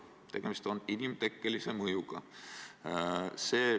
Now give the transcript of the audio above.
Tegemist on inimtekkelise mõjuga!